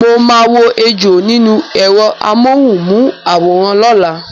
Mo maa wo ejò nínú èrọ amóhùn mu àwòrán lọ́la